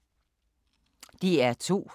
DR2